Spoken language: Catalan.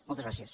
moltes gràcies